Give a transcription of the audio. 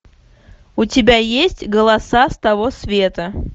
у тебя есть голоса с того света